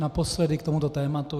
Naposledy k tomuto tématu.